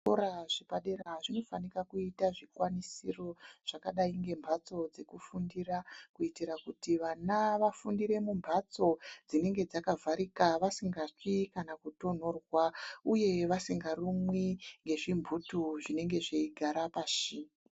Zvikora zvepadera zvinofanka kuita zvikwanisiro zvakadai ngemphatso dzekufundira, kuitira kuti vana vafundire mumphatso dzinenge dzakavharika vasingatsvi kana kutonhorwa, uye vasingarumwi ngezvimphutu zvinenge zveigara pashi.